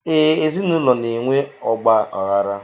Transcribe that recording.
ee, ezinụlọ na-enwe ọgba aghara